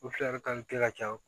O fila de kan ka kɛ ka ca